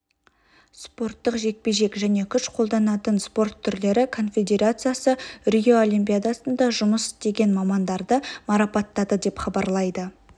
спорттық жекпе-жек және күш қолданатын спорт түрлері конфедерациясы рио олимпиадасында жұмыс істеген мамандарды марапаттады деп хабарлайды